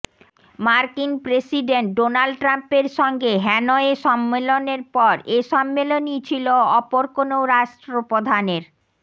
মার্কিন president Donald ট্রাম্পের সঙ্গে হ্যানয়ে সম্মেলনের পর এ সম্মেলনই ছিল অপর কোনও রাষ্ট্র প্রধানের